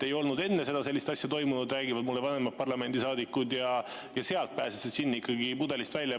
Ei olnud enne sellist asja toimunud, räägivad mulle vanemad parlamendisaadikud, ja seal pääses see džinn pudelist välja.